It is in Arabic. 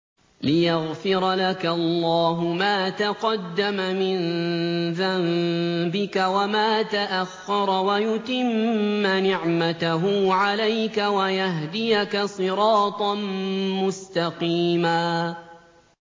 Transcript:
لِّيَغْفِرَ لَكَ اللَّهُ مَا تَقَدَّمَ مِن ذَنبِكَ وَمَا تَأَخَّرَ وَيُتِمَّ نِعْمَتَهُ عَلَيْكَ وَيَهْدِيَكَ صِرَاطًا مُّسْتَقِيمًا